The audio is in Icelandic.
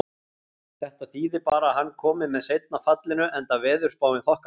Þetta þýði bara að hann komi með seinna fallinu, enda veðurspáin þokkaleg.